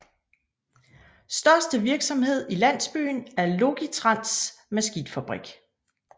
Største virksomhed i landsbyen er Logitrans maskinfabrik